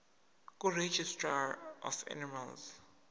kuregistrar of animals